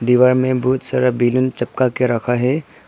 दीवार में बहुत सारा बैलून चिपका के रखा है।